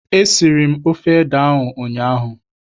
Esiri m ofe ede ahụ ụnyaahụ.